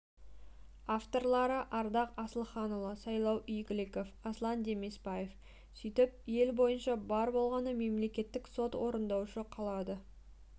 авторлары ардақ асылханұлы сайлау игіліков аслан демесбаев сөйтіп ел бойынша бар болғаны мемлекеттік сот орындаушы қалады